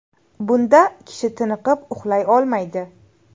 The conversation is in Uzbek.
Bunda kishi tiniqib uxlay olmaydi.